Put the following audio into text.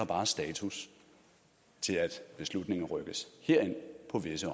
bare status til at beslutningen rykkes herind på visse